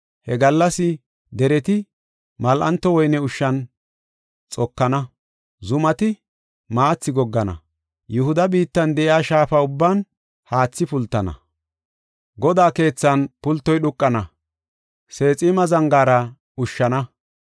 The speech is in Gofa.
He gallas dereti mal7anto woyne ushshan xokana; zumati maathi goggana. Yihuda biittan de7iya shaafa ubban haathi pultana. Godaa keethan pultoy dhuuqana; Seexima zangaara ushshana.